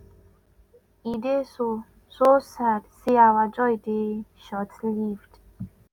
"e dey so so sad say our joy dey shortlived.